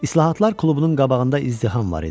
İslahatlar klubunun qabağında izdiham var idi.